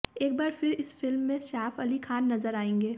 एक बार फिर इस फिल्म में सैफ अली खान नजर आएंगे